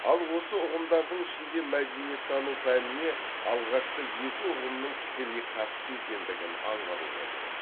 ал осы ұғымдардың ішінде мәдениеттану пәніне алғашқы екі ұғымның тікелей қатысты екендігін аңғаруға болады